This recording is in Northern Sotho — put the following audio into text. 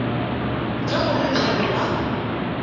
ge go le bjalo ba